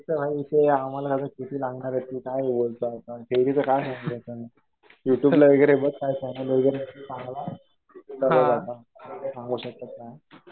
थेरीचं भाई ते आम्हाला ते लागणार आहे. काय बोलतो आपण. डेलीचं काय म्हणतो आपण ते सांगू शकत नाही.